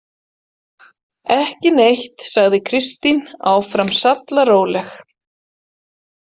Ekki neitt, sagði Kristín, áfram sallaróleg.